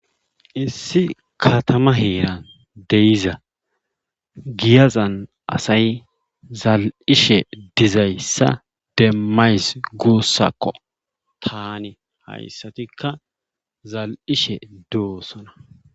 Issi katama heeran de'ida giyazan asay zalishe dizayssa demys guusakko taani hayssatikka zal'ishe dosona.